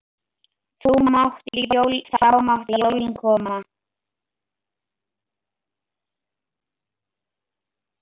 Þá máttu jólin koma.